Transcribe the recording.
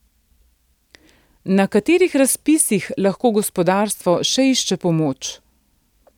Na katerih razpisih lahko gospodarstvo še išče pomoč?